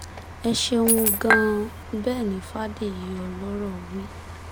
ẹ ṣeun gan-an bẹ́ẹ̀ ni fàdèyí ọlọ́rọ̀ wí